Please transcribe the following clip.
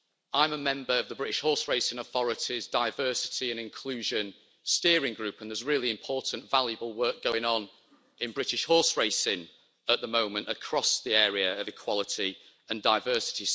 I'm a member of the British Horseracing Authority's diversity and inclusion steering group, and there's really important, valuable work going on in British horseracing at the moment across the area of equality and diversity.